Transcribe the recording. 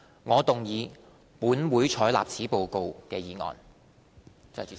我動議"本會採納此報告"的議案。